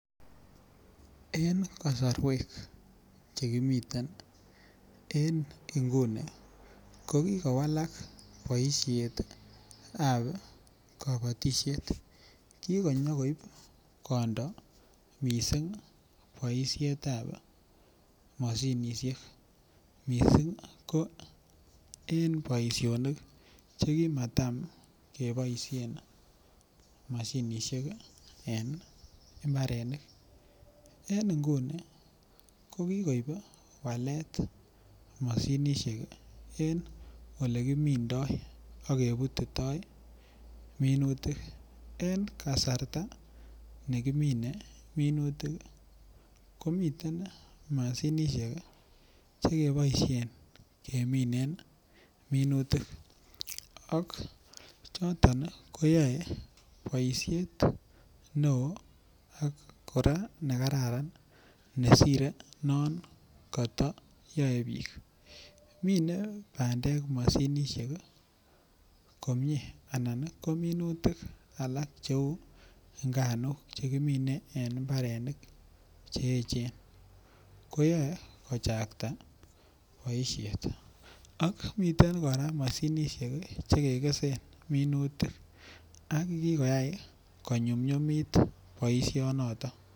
En kasarwek Che kimiten en nguni ko kobit mianwogik Che terter kosubge ak Ole kisoptoi mianwek ko ireu tuguk Che terter ak Ole kiteptoi en sobenyon en nguni bik oleo Che kagooosekitun ko tindoi miando nebo rwaetab korotik ak kiger en sipitalisiek kele bo komonut komiten mashinit nekebimonen rwaetab korotik nyolu keger kele kakibiman chito kit neu rwaenyin nebo korotik asi kenai Ole kitoretitoi inendet ak kemwachi Ole nyolu ko sopto ak kostoenge komat koyai tuguk achon Che toreti koger kole marwai mising korotik en bortanyin kararan olon miten komie rwaetab korotik